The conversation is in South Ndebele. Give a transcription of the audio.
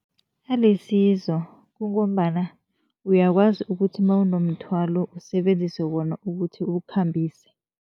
Alisizo kungombana uyakwazi ukuthi mawunomthwalo usebenzise wona ukuthi uwukhambise.